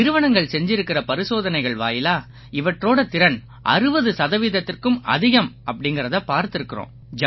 நிறுவனங்கள் செஞ்சிருக்கற பரிசோதனைகள் வாயிலா இவற்றோட திறன் 60 சதவீதத்திற்கும் அதிகம் அப்படீங்கறதை பார்த்திருக்கோம்